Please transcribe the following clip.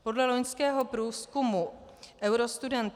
Podle loňského průzkumu Eurostudent